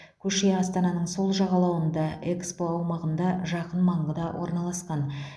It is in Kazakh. көше астананың сол жағалауында экспо аумағына жақын маңда орналасқан